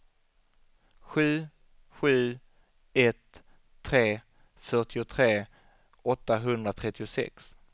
sju sju ett tre fyrtiotre åttahundratrettiosex